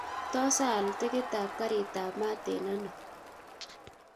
Tos aal tikit ab karit ab mat en eno